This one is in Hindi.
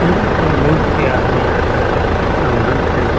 यहाँ पर बहुत से आदमी आकर सामान खरीद --